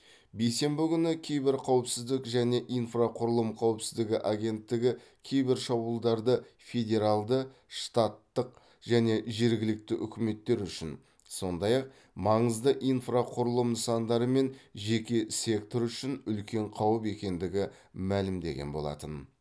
бейсенбі күні киберқауіпсіздік және инфрақұрылым қауіпсіздігі агенттігі кибершабуылдарды федералды штаттық және жергілікті үкіметтер үшін сондай ақ маңызды инфрақұрылым нысандары мен жеке сектор үшін үлкен қауіп екендігі мәлімдеген болатын